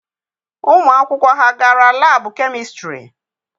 Ụmụ akwụkwọ ha gara laabụ kemistịrị?